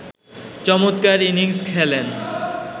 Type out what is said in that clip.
চমৎকার ইনিংস খেলেন